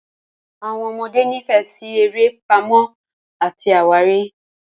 Àwọn ọmọdé nífẹ̀ẹ́ sí eré Pàmò àti àwárí.